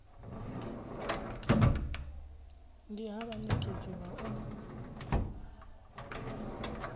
ndi ha vhanekedzi vha u